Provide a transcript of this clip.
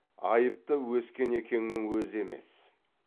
айыпты өскенекеңнің өзі емес